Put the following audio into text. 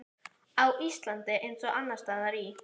Á Íslandi, eins og annars staðar í